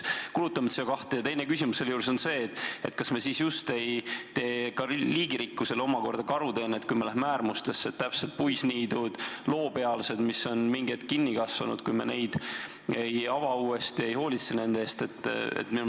Ja teine küsimus on ka: kas me sellega ei tee liigirikkusele karuteenet, kui me läheme äärmustesse, jättes puisniidud ja loopealsed, mis on kinni kasvanud, samasse seisu, ei ava neid uuesti ega hoolitse nende eest?